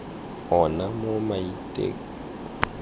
ona mo maitekong a rona